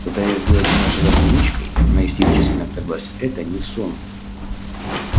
пытаясь сделать меня шизофреничкой она истерически напряглась это не сон